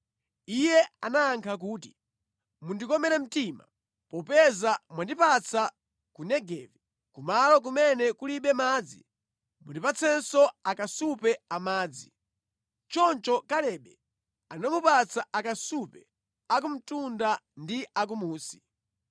Iye anayankha kuti “Mundikomere mtima. Popeza mwandipatsa ku Negevi, kumalo kumene kulibe madzi, mundipatsenso akasupe amadzi.” Choncho Kalebe anamupatsa akasupe a kumtunda ndi a kumunsi.